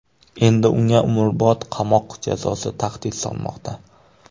Endi unga umrbod qamoq jazosi tahdid solmoqda.